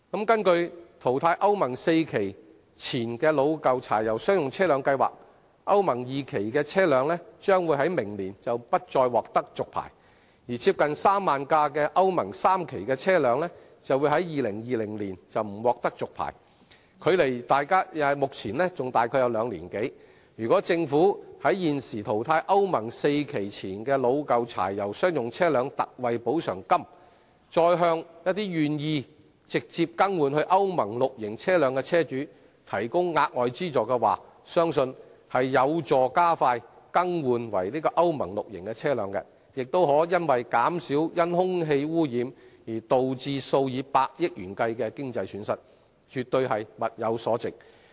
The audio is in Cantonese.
根據淘汰歐盟 IV 期以前老舊柴油商用車輛計劃，歐盟 II 期的車輛將於明年不再獲續牌，而接近3萬輛歐盟 III 期車輛將於2020年不獲續牌，距離現時還有兩年多，如果政府除了提供現時淘汰歐盟 IV 期以前老舊柴油商用車輛的特惠補償金，再向一些願意直接更換至歐盟 VI 期車輛的車主提供額外資助，相信有助加快更換為歐盟 VI 期車輛的進度，也可減少因空氣污染而導致數以百億元計的經濟損失，絕對物有所值。